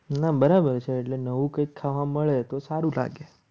ના બરાબર છે એટલે નવું કંઈક ખાવા મળે તો સારું લાગે.